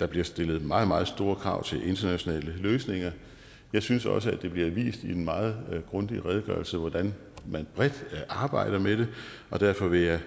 der bliver stillet meget meget store krav til internationale løsninger jeg synes også at det bliver vist i den meget grundige redegørelse hvordan man bredt arbejder med det og derfor vil jeg